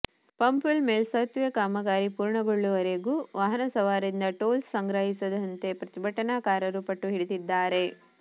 ಪಂಪ್ವೆಲ್ ಮೇಲ್ಸೇತುವೆ ಕಾಮಗಾರಿ ಪೂರ್ಣಗೊಳ್ಳುವವರೆಗೂ ವಾಹನ ಸವಾರರಿಂದ ಟೋಲ್ ಸಂಗ್ರಹಿಸದಂತೆ ಪ್ರತಿಭಟನಾಕಾರರು ಪಟ್ಟು ಹಿಡಿದಿದ್ದಾರೆ